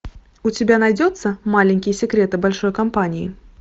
у тебя найдется маленькие секреты большой компании